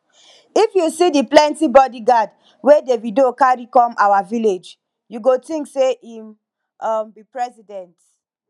if you see the plenty bodyguard wey davido carry come our village you go think say im um be president